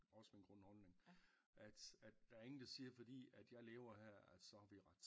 Også min grundholdning at at der er ingen der siger fordi jeg lever her så har vi ret